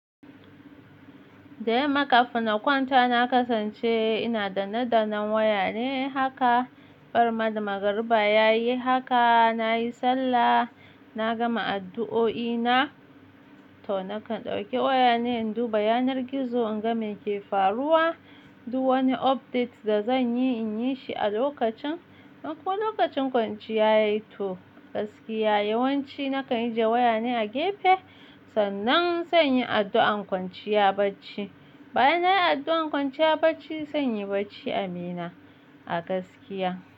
Dayamma kafin na kwanta na kasance ina danne dannan waya ne haka, barinma da magariba yayi haka, nayi sallah, na gama addu'o'i na, to nakan ɗauki waya ne in du bayanar gizo in ga meke faruwa, du wani update da zanyi in yi shi a lokacin, in ko lokacin kwanciya yayi to gaskiya yawanci nakan ajiye waya ne a gefe, sannan zanyi addu'an kwanciya bacci. Bayan nayi addu'an kwanciya bacci, zanyi bacci Abina a gaskiya.